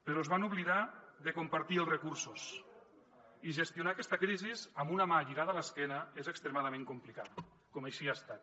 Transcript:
però es van oblidar de compartir els recursos i gestionar aquesta crisi amb una mà lligada a l’esquena és extremadament complicat com així ha estat